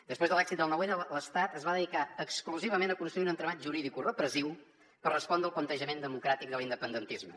després de l’èxit del nou n l’estat es va dedicar exclusivament a construir un entramat juridicorepressiu per respondre el plantejament democràtic de l’independentisme